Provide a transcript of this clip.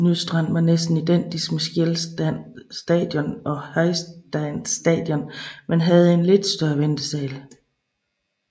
Nystrand var næsten identisk med Skjelstad Station og Heistad Station men havde en lidt større ventesal